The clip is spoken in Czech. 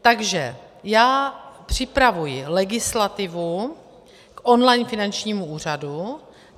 Takže já připravuji legislativu on-line finančnímu úřadu.